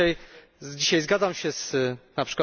Dzisiaj zgadzam się np.